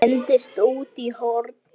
Hendist út í horn.